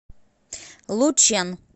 лучэн